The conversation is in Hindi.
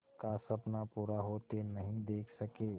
का सपना पूरा होते नहीं देख सके